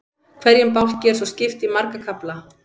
Hverjum bálki er svo skipt í marga kafla.